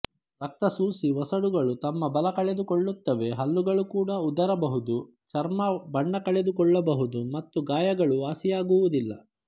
ರಕ್ತ ಸೂಸಿ ಒಸಡುಗಳು ತಮ್ಮ ಬಲ ಕಳೆದುಕೊಳ್ಳುತ್ತವೆ ಹಲ್ಲುಗಳು ಕೂಡ ಉದರಬಹುದು ಚರ್ಮ ಬಣ್ಣ ಕಳೆದುಕೊಳ್ಳಬಹುದು ಮತ್ತುಗಾಯಗಳು ವಾಸಿಯಾಗುವುದಿಲ್ಲ